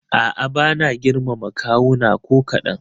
A'a bana girmama kawuna ko kaɗan.